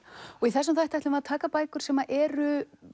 í þessum þætti ætlum við að taka bækur sem eru